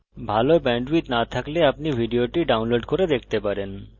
যদি ভাল bandwidth না থাকে তাহলে আপনি ভিডিওটি download করে দেখতে পারেন